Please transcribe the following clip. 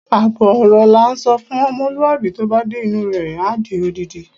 Àbọ̀ ọ̀rọ̀ la ńsọ fún ọmọlúwàbí, tó bá dé inú u rẹ̀, á di odindi.